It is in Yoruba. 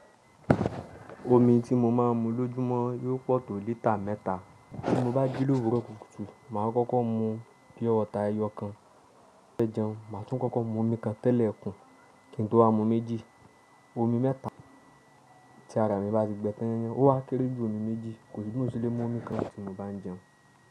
Omi tí mo máa ń mu lójúmọ́ yóò pọ̀ tó lítà mẹ́ta. Ti mo bá jí lóru kùtùkùtù, màá kọ́kọ́ mu pí ọta ẹyọ kan. Lẹ́jọ̀n, màá tún kọ́kọ́ mu omi kan tẹ́lẹ̀ kùn, kí n tó a mu méjì. Omi mẹ́ta tí ara mi bá ti gbẹ́tẹ́yẹ́n, ó wá kéré jù omi méjì, kò sì ní mo lè mu omi kan tí mo bá ń jẹun.